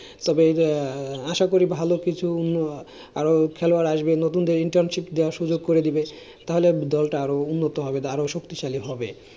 তবে আশা করি ভালো কিছু খেলোয়াড় আসবে। নতুনদের internship দেওয়ার সুযোগ করে দিবে। তাহলে দলটা আরো উন্নত হবে, আরো শক্তিশালী হবে।